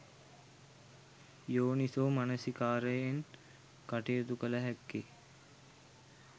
යෝනිසෝ මනසිකාරයෙන් කටයුතු කළ හැක්කේ